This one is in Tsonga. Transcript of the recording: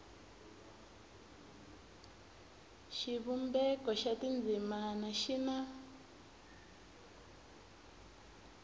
xivumbeko xa tindzimana xi na